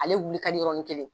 Ale wuli ka di yɔrɔnin kelen.